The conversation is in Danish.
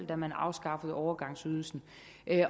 da man afskaffede overgangsydelsen